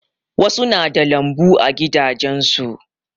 Wasu na da lambu a gidajen su.